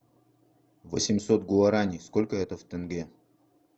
восемьсот гуарани сколько это в тенге